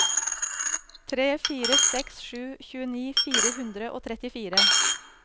tre fire seks sju tjueni fire hundre og trettifire